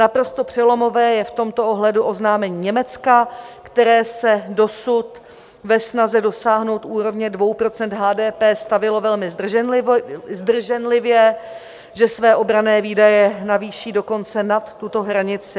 Naprosto přelomové je v tomto ohledu oznámení Německa, které se dosud ke snaze dosáhnout úrovně 2 % HDP stavělo velmi zdrženlivě, že své obranné výdaje navýší dokonce nad tuto hranici.